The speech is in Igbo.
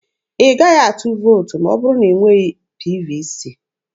Ị gaghị atụ vootu ma ọ bụrụ na ị nweghị PVC.